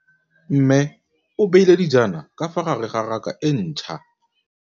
Mmê o beile dijana ka fa gare ga raka e ntšha.